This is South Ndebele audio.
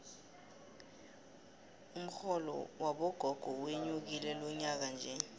umxholo wabogogo wenyukile lonyakanje